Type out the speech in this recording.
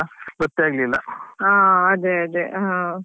ಹಾ ಅದೇ ಅದೇ ಹಾ.